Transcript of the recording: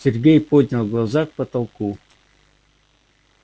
сергей поднял глаза к потолку